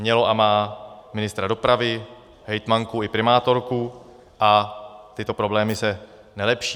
Mělo a má ministra dopravy, hejtmanku i primátorku a tyto problémy se nelepší.